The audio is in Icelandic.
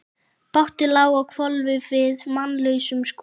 Bátur lá á hvolfi við mannlausan skúr.